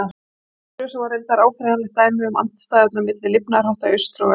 Á næstu grösum var reyndar áþreifanlegt dæmi um andstæðurnar milli lifnaðarhátta í austri og vestri.